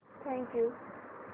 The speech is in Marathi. thank you